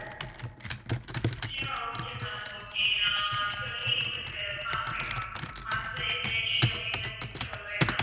yeah okay ma'am okay நான் சொல்லி உங்களுக்கு பாக்கறேன் ma'am பாத்து என்ன issue அப்படின்னு உங்களுக்கு சொல்றேன் ma'am.